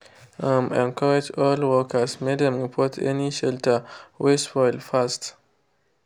um encourage all workers make dem report any shelter wey spoil fast.